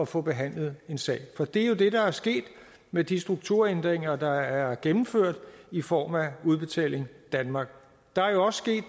få behandlet en sag for det er jo det der er sket med de strukturændringer der er gennemført i form af udbetaling danmark der er jo også sket